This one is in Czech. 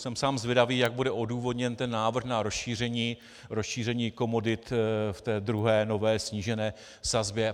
Jsem sám zvědavý, jak bude odůvodněn ten návrh na rozšíření komodit v té druhé nové snížené sazbě.